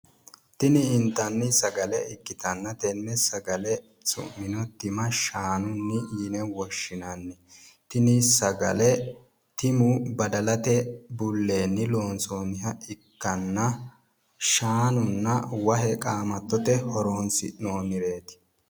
tini intanni sagale ikkitanna tenne sagale su'mino tima shaanunni yine woshshinanni tini sagale timu badalate bulleeni loonsoonniha ikkanna shaanunna wahe qaamattote horonsi'noonnireeti